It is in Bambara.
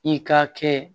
I ka kɛ